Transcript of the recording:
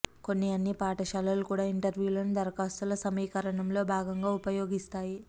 కొన్ని అన్ని పాఠశాలలు కూడా ఇంటర్వ్యూలను దరఖాస్తుల సమీకరణంలో భాగంగా ఉపయోగిస్తాయి